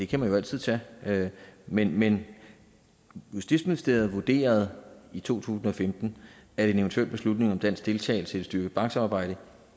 kan man jo altid tage men men justitsministeriet vurderede i to tusind og femten at en eventuel beslutning om dansk deltagelse i et styrket banksamarbejde